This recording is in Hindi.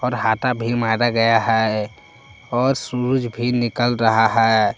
हाटा भी मारा गया है और सुरुज भी निकल रहा है।